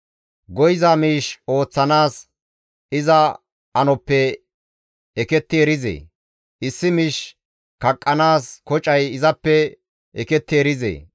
Go7iza miish ooththanaas iza anoppe eketti erizee? Issi miish kaqqanaas kocay izappe eketti erizee?